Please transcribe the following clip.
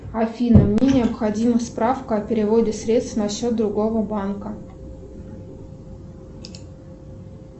афина мне необходима справка о переводе средств на счет другого банка